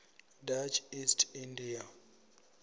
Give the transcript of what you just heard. dutch east india